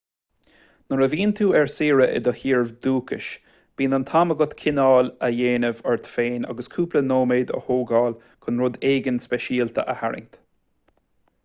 nuair a bhíonn tú ar saoire i do thír dhúchais bíonn an t-am agat cineál a dhéanamh ort féin agus cúpla nóiméad a thógáil chun rud éigin speisialta a tharraingt